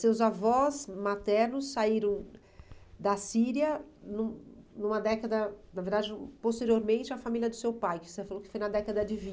Seus avós maternos saíram da Síria num numa década, na verdade, posteriormente, a família do seu pai, que você falou que foi na década de